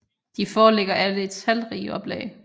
De foreligger alle i talrige oplag